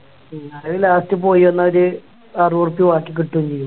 അയില് Last പോയി വന്നാല് അറുപോർപ്പ്യ ബാക്കി കിട്ടുവേം ചെയ്യൂ